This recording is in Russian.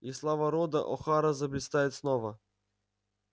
и слава рода охара заблистает снова